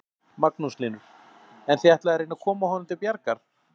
Magnús Hlynur: En þið ætlið að reyna að koma honum til bjargar?